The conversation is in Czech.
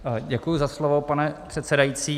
Děkuji za slovo, pane předsedající.